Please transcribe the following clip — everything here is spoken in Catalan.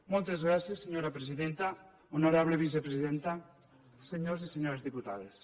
moltes gràcies senyora presidenta honorable vicepresidenta senyors i senyores diputades